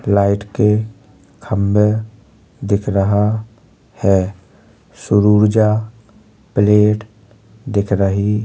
Light के खंबे दिख रहा है। सूरऊर्जा प्लेट दिख रही --